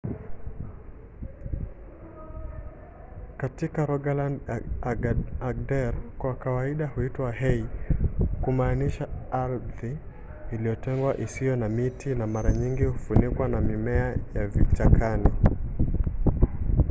katika rogaland na agder kwa kawaida huitwa hei kumaanisha ardhi iliyotengwa isiyo na miti na mara nyingi hufunikwa na mimea ya vichakani